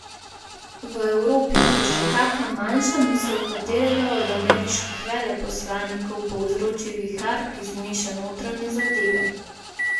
V Evropi, kjer že kaka manjša misel katerega od ameriških veleposlanikov povzroči vihar, ki zmeša notranje zadeve.